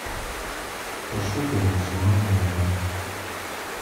пошукай максимальный удар